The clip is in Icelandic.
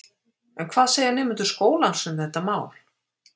En hvað segja nemendur skólans um þetta mál?